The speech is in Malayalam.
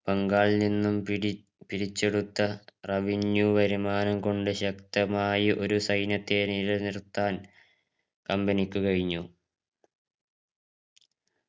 ബംഗാളിൽ നിന്നും പിടി പിരിച്ചെടുത്ത revenue വരുമാനം കൊണ്ട് ശക്തമായി ഒരു സൈന്യത്തെ നിലനിർത്താൻ company ക്ക് കയിഞ്ഞു